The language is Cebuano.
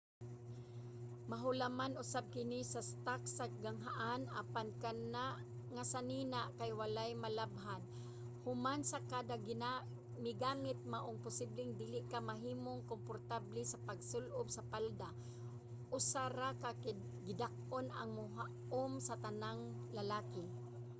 mahulaman usab kini sa stock sa ganghaan apan kana nga sanina kay wala malabhan human sa kada migamit maong posibleng dili ka mahimong komportable sa pagsul-ob sa palda. usa ra ka gidak-on ang mohaom sa tanang lalaki!